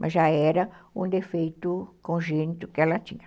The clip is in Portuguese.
Mas já era um defeito congênito que ela tinha.